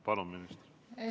Palun, minister!